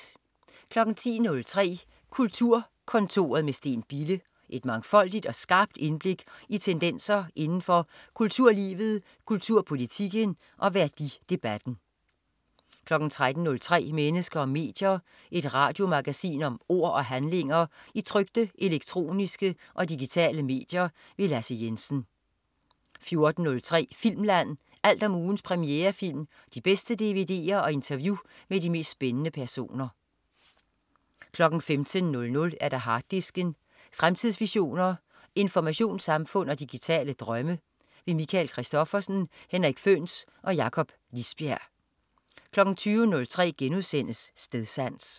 10.03 Kulturkontoret med Steen Bille. Et mangfoldigt og skarpt indblik i tendenser inden for kulturlivet, kulturpolitikken og værdidebatten 13.03 Mennesker og medier. Et radiomagasin om ord og handlinger i trykte, elektroniske og digitale medier. Lasse Jensen 14.03 Filmland. Alt om ugens premierefilm, de bedste dvd'er og interview med de mest spændende personer 15.00 Harddisken. Fremtidsvisioner, informationssamfund og digitale drømme. Michael Christophersen, Henrik Føhns og Jakob Lisbjerg 20.03 Stedsans*